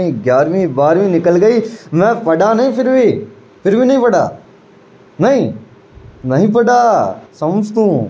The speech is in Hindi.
ग्यारवी बरहवी निकल गयी मैं पढ़ा नही फिर भी फिर भी नहीं पढ़ा नहीं नहीं पढ़ा। समझ तू।